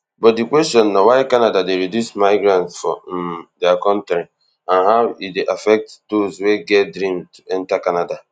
but di question na why canada dey reduce migrants for um dia kontri and how e dey affect dose wey get dream to enta canada